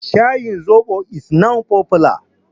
Shayin zoɓo is now popular.